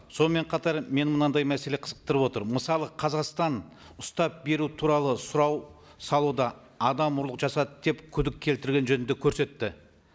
сонымен қатар мені мынандай мәселе қызықтырып отыр мысалы қазақстан ұстап беру туралы сұрау салуда адам ұрлық жасады деп күдік келтірген жөнінде көрсетті